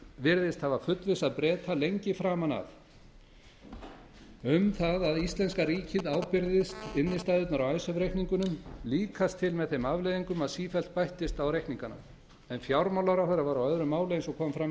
virðist hafa fullvissað breta lengi framan af um að íslenska ríkið ábyrgðist innstæðurnar á icesave reikningunum líkast til með þeim afleiðingum að sífellt bættist á reikningana en fjármálaráðherra var á öðru máli eins og fram kom í símtali hans